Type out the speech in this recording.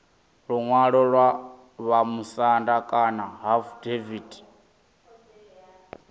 luṅwalo lwa vhamusanda kana afidaviti